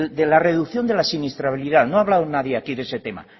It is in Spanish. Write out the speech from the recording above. de la reducción de la siniestralidad no ha hablado nadie aquí de ese tema